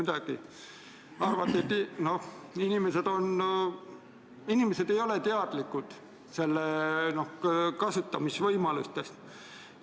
Te arvate, et inimesed ei ole teadlikud selle raha kasutamise võimalustest.